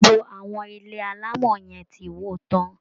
GBogbo àwọn ilé alámọ yẹn ti wó tán